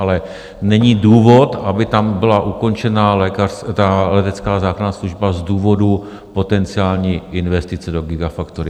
Ale není důvod, aby tam byla ukončena letecká záchranná služba z důvodu potenciální investice do gigafactory.